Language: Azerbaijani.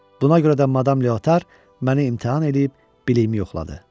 Buna görə də Madam Leotar məni imtahan edib biliyimi yoxladı.